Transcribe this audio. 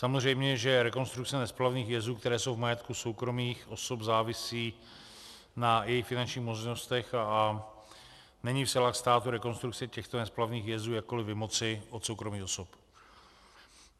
Samozřejmě že rekonstrukce nesplavných jezů, které jsou v majetku soukromých osob, závisí na jejich finančních možnostech a není v silách státu rekonstrukce těchto nesplavných jezů jakkoli vymoci od soukromých osob.